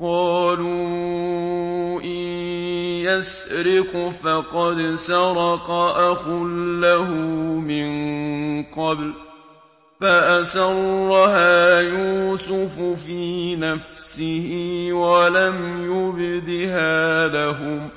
۞ قَالُوا إِن يَسْرِقْ فَقَدْ سَرَقَ أَخٌ لَّهُ مِن قَبْلُ ۚ فَأَسَرَّهَا يُوسُفُ فِي نَفْسِهِ وَلَمْ يُبْدِهَا لَهُمْ ۚ